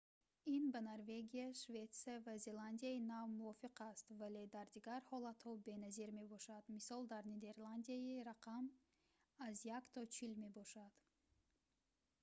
ин ба норвегия шветсия ва зеландияи нав мувофиқ аст вале дар дигар ҳолатҳо беназир мебошад мисол дар нидерландия рақам аз як то чил мебошад